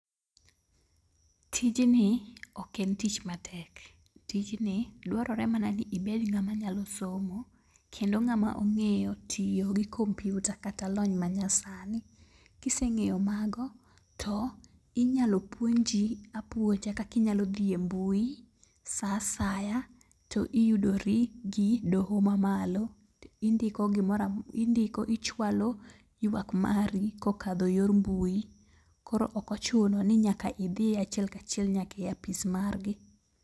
Tijni ok en tich matek, tijni dwarore mana ni ibed ng'ama nyalo somo kendo ng'ama ong'eyo tiyo gi kompyuta kata lony ma nyasani. Kise ng'eyo mago, to inyalo puonji apuonja kakinyalo dhi e mbui sa asaya to iyudori gi doho ma malo. To indiko gimora indiko ichwalo ywak mari kokadho yor mbui. Koro okochuno ni nyaka idhiye achiel kachiel nyaka e apis margi.